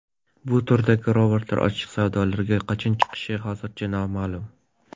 Bu turdagi robotlar ochiq savdolarga qachon chiqishi hozircha noma’lum.